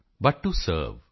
but to serve